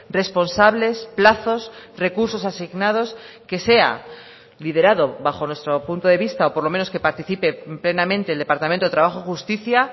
responsables plazos recursos asignados que sea liderado bajo nuestro punto de vista por lo menos que participe plenamente el departamento de trabajo y justicia